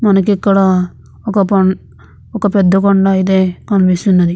మనకి ఇక్కడ ఒక పని ఒక పెద్ద కొండ అయితే కనిపిస్తున్నది.